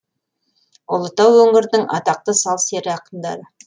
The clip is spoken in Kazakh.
ұлытау өңірінің атақты сал сері ақындары